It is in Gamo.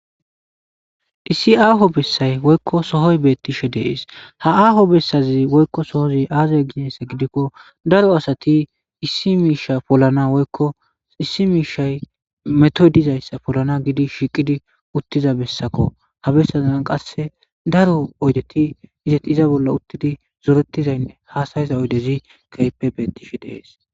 issi aaho bessay woykko sohoy beettishe dees ha aaho bessazi woykko sohozi aazaya ginessa gidikko daro asati issi miisha polana woykko issi miishay metodizayssa polana gidi shiiqidi uttiza bessakko ha bessazan qasse daro oydeti izeti iza bolla uttidi zoorettizaynne haasayiza oydezi keyeppe beettishe dees